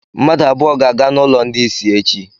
Mmadụ abụọ ga-aga n'ụlọ ndị isi echi.